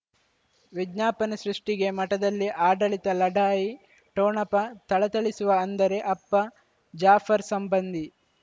ವಿಜ್ಞಾಪನೆ ಸೃಷ್ಟಿಗೆ ಮಠದಲ್ಲಿ ಆಡಳಿತ ಲಢಾಯಿ ಠೊಣಪ ಥಳಥಳಿಸುವ ಅಂದರೆ ಅಪ್ಪ ಜಾಫರ್ ಸಂಬಂಧಿ